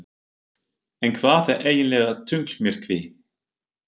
En hvað er eiginlega tunglmyrkvi?